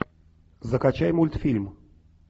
закачай мультфильм